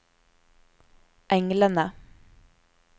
englene